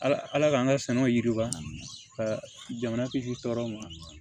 Ala ala k'an ka saɲɔ yiriwa ka jamana kisi tɔɔrɔ ma